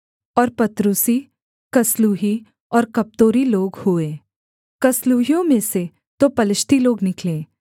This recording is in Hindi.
और पत्रूसी कसलूही और कप्तोरी लोग हुए कसलूहियों में से तो पलिश्ती लोग निकले